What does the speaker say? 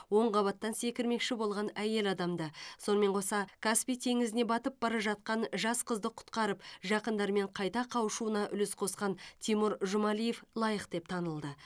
он қабаттан секірмекші болған әйел адамды сонымен қоса каспий теңізіне батып бара жатқан жас қызды құтқарып жақындарымен қайта қауышуына үлес қосқан тимур жұмалиев лайық деп танылды